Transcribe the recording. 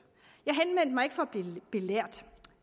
jeg henvendte mig ikke for at blive belært